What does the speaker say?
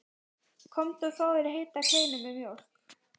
Komdu og fáðu þér heita kleinu og mjólk.